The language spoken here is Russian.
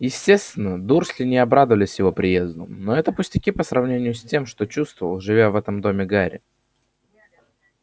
естественно дурсли не обрадовались его приезду но это пустяки по сравнению с тем что чувствовал живя в этом доме гарри